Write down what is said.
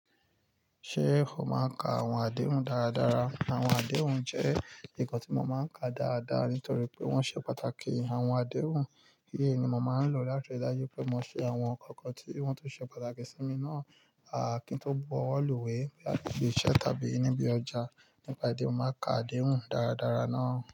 Ṣé o máa ń ka àwọn adéhùn dáradára? Àwọn adéhùn jẹ́ nǹkan tí mo máa ń ka dáadáa nítorí pé wọ́n ṣe pàtàkì. Àwọn adéhùn, eleyii ni mo máa ń lò láti rí dájú pé mo ṣe àwọn ǹkankan tí wọ́n tun ṣe pàtàkì sí mi náà. Kí n tó bọ́wọ́ lùwé àti ibi iṣẹ́ tàbí níbí ọjà. Nípa idi eyi, mo màá n ka adéhùn dáradára náà.